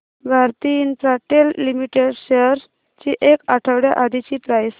Bharti Infratel limited shares ची एक आठवड्या आधीची प्राइस